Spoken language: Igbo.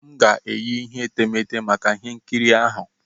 M ga-eyi ihe etemeete maka ihe nkiri ahụ.